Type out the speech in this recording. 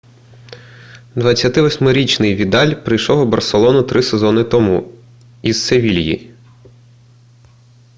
28-річний відаль прийшов у барселону три сезону тому із севільї